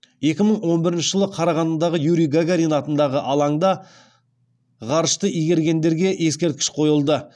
екі мың он бірінші жылы қарағандыдағы юрий гагарин атындағы алаңда ғарышты игергендерге ескерткіш қойылды